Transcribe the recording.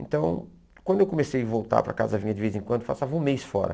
Então, quando eu comecei a voltar para casa, vinha de vez em quando, eu passava um mês fora.